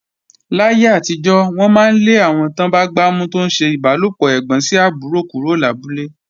Láyé àtijọ́, wọ́n máa ń lé àwọn tán bá gbámú tó ń ṣe ìbálòpọ̀ ẹ̀gbọ́n sí àbúrò kúrò lábúlé.